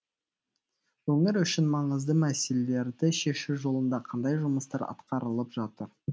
өңір үшін маңызды мәселелерді шешу жолында қандай жұмыстар атқарылып жатыр